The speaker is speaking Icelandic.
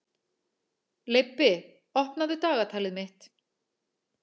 Leibbi, opnaðu dagatalið mitt.